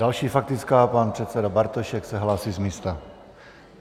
Další faktická, pan předseda Bartošek se hlásí z místa.